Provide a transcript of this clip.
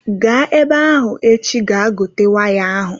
Gaa ebe ahụ echi ga gote waya ahụ!